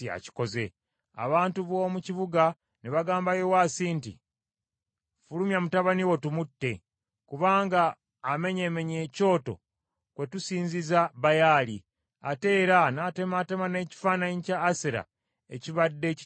Abantu b’omu kibuga ne bagamba Yowaasi nti, “Ffulumya mutabani wo tumutte, kubanga amenyeemenye ekyoto kwetusinziza Baali; ate era n’atemaatema n’ekifaananyi kya Asera ekibadde kikiriraanye.”